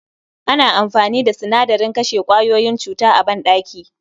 Ana amfani da sinadarin kashe kwayoyin cuta a banɗaki